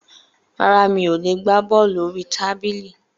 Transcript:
Rárá, mi ò le gbá bọ́ọ̀lù orí tábìlì.